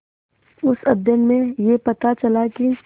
उस अध्ययन में यह पता चला कि